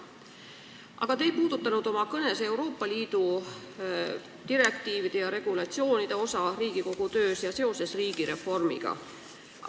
Aga te ei puudutanud oma kõnes Euroopa Liidu direktiivide ja regulatsioonide osa Riigikogu töös ega seost riigireformiga.